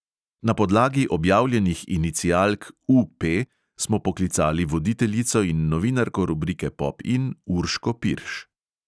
Na podlagi objavljenih inicialk U P smo poklicali voditeljico in novinarko rubrike pop in urško pirš.